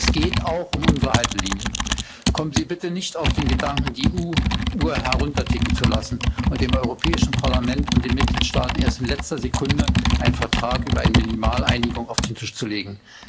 Es geht hier auch um unsere eigenen Haltelinien. Kommen Sie bitte nicht auf den Gedanken, die Uhr herunterticken zu lassen und dem Europäischen Parlament und den Mitgliedstaaten erst in letzter Sekunde einen Vertrag über eine Minimaleinigung auf den Tisch zu legen.